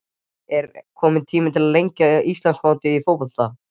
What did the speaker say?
Er kominn tími til að lengja Íslandsmótið í fótbolta?